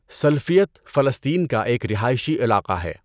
سلفیت فلسطین کا ایک رہائشی علاقہ ہے